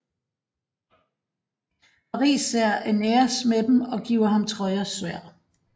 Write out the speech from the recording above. Paris ser Æneas med dem og giver ham Trojas sværd